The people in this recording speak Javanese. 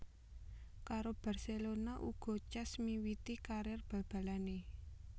Karo Barcelona uga Cesc miwiti karir bal balanè